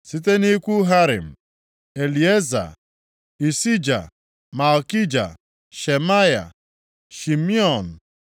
Site nʼikwu Harim: Elieza, Ishija, Malkija, Shemaya, Shimeon,